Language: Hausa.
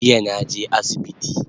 Jiya naje asibiti